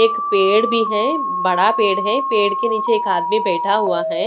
एक पेड़ भी है बड़ा पेड़ है पेड़ के नीचे एक आदमी बैठा हुआ है।